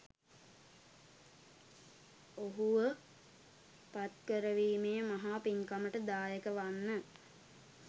ඔහුව පත්කරවීමේ මහා පින්කමට දායක වන්න.